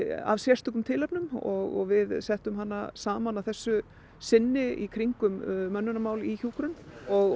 af sérstökum tilefnum og við settum hana saman að þessu sinni í kringum mönnunarmál í kringum hjúkrun